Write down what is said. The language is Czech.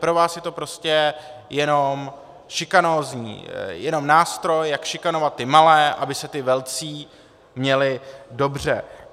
Pro vás je to prostě jenom šikanózní, jenom nástroj, jak šikanovat ty malé, aby se ti velcí měli dobře.